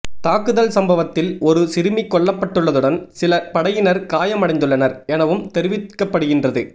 தாக்குதல் சம்பவத்தில் ஒரு சிறுமி கொல்லப்பட்டுள்ளதுடன் சில படையினர் காயமடைந்துள்ளனர் எனவும் தெரிவிக்கப்படுகின்றது